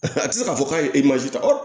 A tɛ se k'a fɔ k'a ye ta